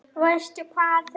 Veistu hvar þau eru?